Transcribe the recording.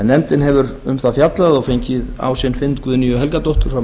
nefndin hefur fjallað um málið og fengið á sinn fund guðnýju helgadóttur frá